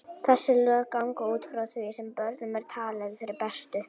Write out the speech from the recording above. Þessi lög ganga út frá því sem börnum er talið fyrir bestu.